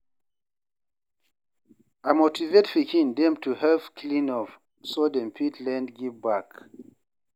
I motivate pikin dem to help clean up, so dem fit learn give back.